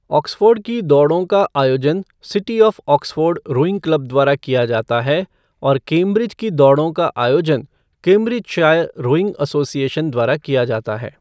Oxford की दौड़ों का आयोजन city of Oxford rowing club द्वारा किया जाता है और केम्ब्रिज की दौड़ों का आयोजन केम्ब्रिजशायर रोइंग एसोसिएशन द्वारा किया जाता है।